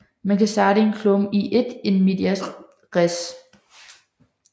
Man kan starte en klumme i et in medias res